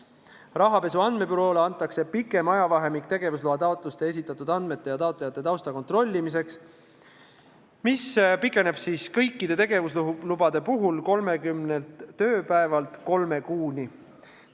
Rahapesu andmebüroole antakse pikem ajavahemik tegevusloa taotlustega koos esitatud andmete ja taotlejate tausta kontrollimiseks: see aeg pikeneb kõikide tegevuslubade puhul 30 tööpäevalt kolme kuuni.